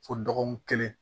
Fo dɔgɔkun kelen